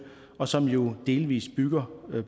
og som jo delvis bygger